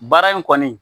Baara in kɔni